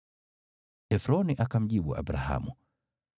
Efroni akamjibu Abrahamu,